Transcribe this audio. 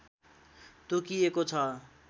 तोकिएको छ